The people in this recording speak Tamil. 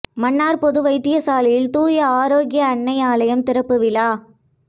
மன்னார் பொது வைத்தியசாலையில் தூய ஆரோக்கிய அன்னை ஆலயம் திறப்பு விழா